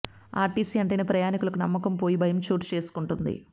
RTC అంటేనే ప్రయాణికులకు నమ్మకం పోయి భయం చోటు చేసుకుంటుంది